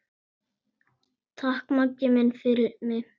Takk, Maggi minn, fyrir mig.